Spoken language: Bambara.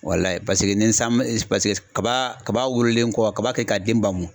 Paseke ni san ma , paseke kaba kaba wololen kɔ kaba kɛ ka den bamun.